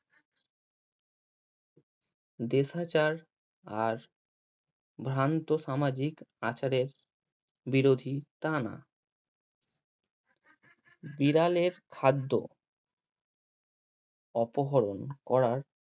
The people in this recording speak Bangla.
দেশাচার আর ভ্যান্ত সামাজিক আচারে বিরোধী তা না বিড়ালের খাদ্য অপহরণ করার